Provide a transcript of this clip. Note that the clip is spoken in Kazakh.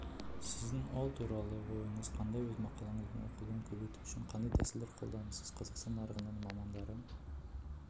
сіздің ол туралы ойыңыз қандай өз мақалаңыздың оқылуын көбейту үшін қандай тәсілдер қолданасыз қазақстан нарығында мамандары